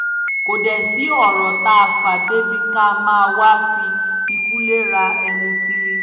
kò dé sí ọ̀rọ̀ tá a fà débi ká máa wáá fi ikú léra ẹni kiri